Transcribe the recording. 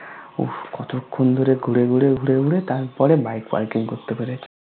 কতক্ষন ধোরে ঘুড়ে ঘুড়ে ঘুড়ে ঘুড়ে তার পড়ে Bike Parking কোরতে পেরেছি